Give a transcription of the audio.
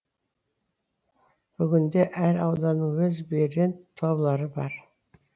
бүгінде әр ауданның өз брэнд таулары бар